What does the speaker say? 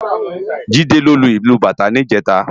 Jide ló lú ilú bátã nijèta